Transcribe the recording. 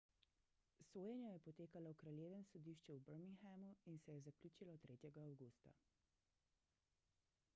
sojenje je potekalo v kraljevem sodišču v birminghamu in se je zaključilo 3 avgusta